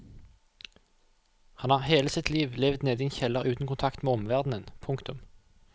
Han har hele sitt liv levd nede i en kjeller uten kontakt med omverdenen. punktum